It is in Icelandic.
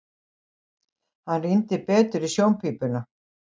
Hann rýndi betur í sjónpípuna.